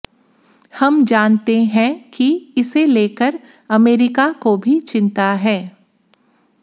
हम जानते हैं कि इसे लेकर अमेरिका को भी चिंता है